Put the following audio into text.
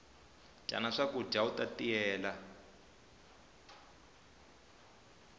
dyana swakudya uta tiyela